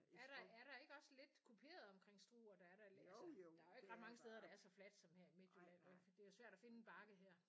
Er der er der ikke også lidt kuperet omkring Struer? Der er da altså der er jo ikke mange stader der er så flat som her i Midtjylland vel for det er jo svært at finde en bakke her